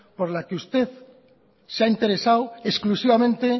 por la que usted se ha interesado exclusivamente